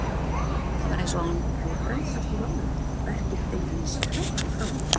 Það var eins og hann hefði frelsast úr álögum, verkin beinlínis flæddu frá honum.